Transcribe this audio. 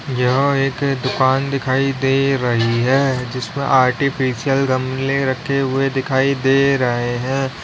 यह एक दुकान दिखाई दे रही है जिसमें आर्टिफिशियल गमले रखे हुए दिखाई दे रहे हैं।